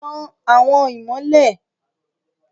Tan awọn imọlẹ